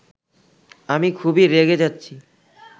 আমি খুবই রেগে যাচ্ছি